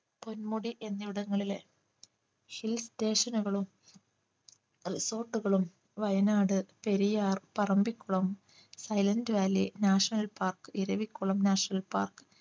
പൊന്മുടി എന്നിവിടങ്ങളിലെ hill station കളും Resort കളും Wayanad Periyar Parambikulam silent valley national park Eravikulam national park